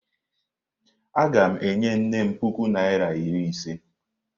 Aga m enye nnem puku naira iri ise.